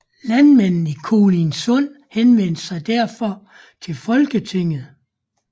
Landmændene i Kolindsund henvendte sig derfor til Folketinget